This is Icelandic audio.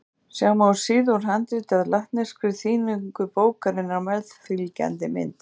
Sjá má síðu úr handriti af latneskri þýðingu bókarinnar á meðfylgjandi mynd.